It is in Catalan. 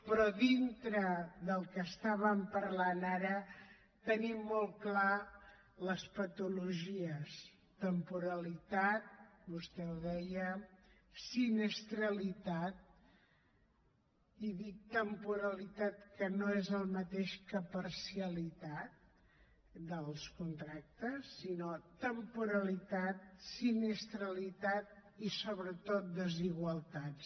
però dintre del que estàvem parlant ara tenim molt clar les patologies temporalitat vostè ho deia sinistralitat i dic temporalitat que no és el mateix que parcialitat dels contractes sinó temporalitat i sobretot desigualtats